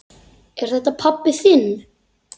Er þetta pabbi þinn?